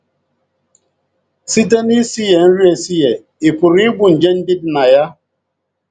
Site n’isighe nri esighe, ị pụrụ igbu nje ndị dị na ya.